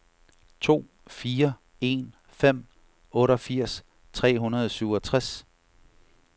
to fire en fem otteogfirs tre hundrede og syvogtres